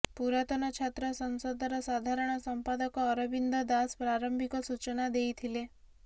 ପୁରାତନ ଛାତ୍ର ସଂସଦର ସାଧାରଣ ସଂପାଦକ ଅରବିନ୍ଦ ଦାସ ପ୍ରାରମ୍ଭିକ ସୂଚନା ଦେଇଥିଲେ